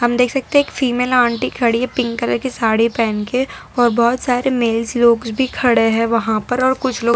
हम देख सकते हैं एक फीमेल आंटी खड़ी हैं पिंक कलर की साड़ी पहन के और बहोत सारे मेल्स लोग भी खड़े हैं वहां पर और कुछ लोग--